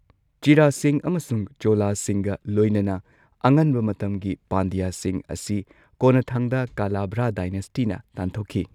ꯆꯦꯔꯥꯁꯤꯡ ꯑꯃꯁꯨꯡ ꯆꯣꯂꯥꯁꯤꯡꯒ ꯂꯣꯏꯅꯅ ꯑꯉꯟꯕ ꯃꯇꯝꯒꯤ ꯄꯥꯟꯗ꯭ꯌꯥꯁꯤꯡ ꯑꯁꯤ ꯀꯣꯟꯅꯊꯪꯗ ꯀꯂꯥꯚ꯭ꯔꯥ ꯗꯥꯏꯅꯦꯁꯇꯤꯅ ꯇꯥꯟꯊꯣꯛꯈꯤ꯫